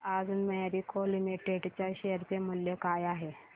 सांगा आज Marico limited च्या शेअर चे मूल्य काय आहे